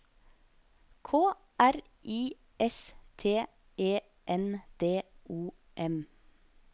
K R I S T E N D O M